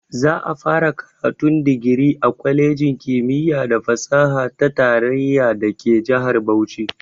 Za'a fara karatun digiri a kwalejin kimiyya da fasaha ta tarayya dake jihar Bauchi.